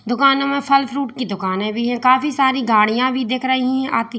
दुकान में फल फ्रूट की दुकानें भी है काफी सारी गाड़ियां भी दिख रही हैं आती।